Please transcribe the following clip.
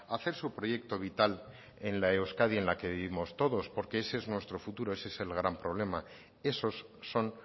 hacer su proyecto vital en la euskadi en la que vivimos todos porque ese es nuestro futuro ese es el gran problema esos son